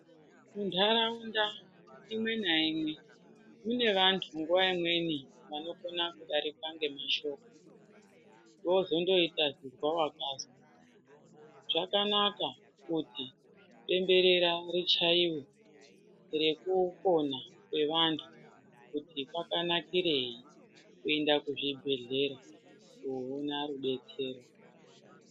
Munharaunda imwe naimwe, mune vantu nguwa imweni vanokona kudarikwe nemashoko vozongoita kuzwa vakazwa. Zvakanaka kuti bemberera richaiwe rekupona kwevanhu kuti kwakanakirei kuenda kuzvibhedhlera koona rudetsero.